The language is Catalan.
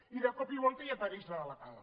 i de cop i volta apareix la delegada